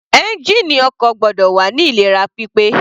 Ẹ́ngìnì ọkọ̀ gbọ́dọ̀ wà ní ìlera pípé.